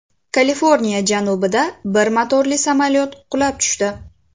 Kaliforniya janubida bir motorli samolyot qulab tushdi.